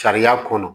Sariya kɔnɔ